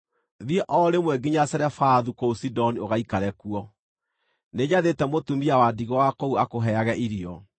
“Thiĩ o rĩmwe nginya Zarefathu kũu Sidoni ũgaikare kuo. Nĩnjathĩte mũtumia wa ndigwa wa kũu akũheage irio.”